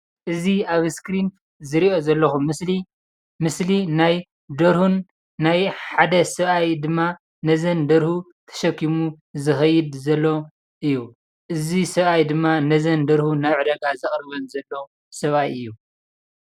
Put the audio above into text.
አዚ ኣብ እስክሪን ዝሪኦ ዘለኹ ምስሊ ናይ ደርሆን ናይ ሓደ ሰብኣይን ድማ ነዘን ደርሁ ተሸኪሙ ዝኸይድ ዘሎ እዩ፡፡ እዚ ሰብኣይ ድማ ነዘን ደርሁ ናብ ዕዳጋ ዘቅርበን ዘሎ ሰብኣይ እዩ፡፡